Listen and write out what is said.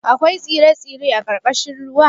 Akwai tsire-tsire a ƙarƙashin ruwa?